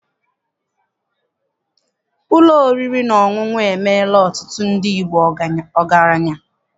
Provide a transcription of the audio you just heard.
Ụlọ oriri na ọṅụṅụ emeela ọtụtụ ndị Igbo ọgaranya